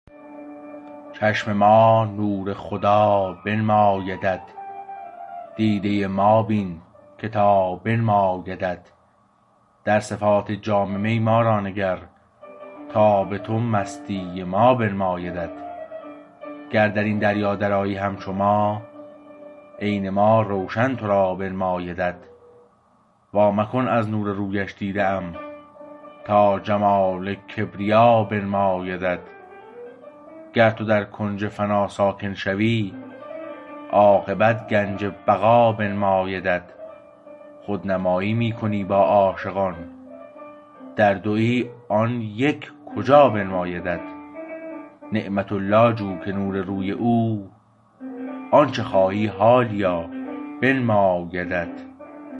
چشم ما نور خدا بنمایدت دیده ما بین که تا بنمایدت در صفات جام می ما را نگر تا به تو مستی ما بنمایدت گر در این دریا درآیی همچو ما عین ما روشن تو را بنمایدت وا مکن از نور رویش دیده ام تا جمال کبریا بنمایدت گر تو در کنج فنا ساکن شوی عاقبت گنج بقا بنمایدت خودنمایی می کنی با عاشقان در دویی آن یک کجا بنمایدت نعمت الله جو که نور روی او آنچه خواهی حالیا بنمایدت